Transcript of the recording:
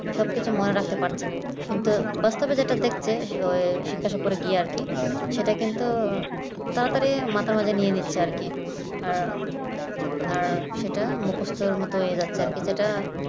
সবকিছু মনে রাখতে পারছে না কিন্তু বাস্তবে যেটা দেখছে শিক্ষা সফলে গিয়ে আর কি সেটা কিন্তু তাড়াতাড়ি মাথার মধ্যে নিয়ে নিচ্ছে আর কি আহ আর সেটা মুখস্থের মত হয়ে যাচ্ছে আর কি যেটা